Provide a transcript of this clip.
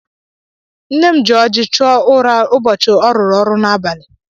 Nne m ji ọjị chụọ ụra ụbọchị ọ rụrụ ọrụ n'abalị.